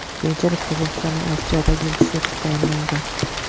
Keyinchalik Qozog‘istonning Avstriyadagi elchisi etib tayinlangan.